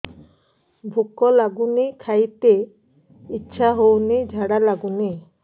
ଭୁକ ଲାଗୁନି ଖାଇତେ ଇଛା ହଉନି ଝାଡ଼ା ଲାଗୁନି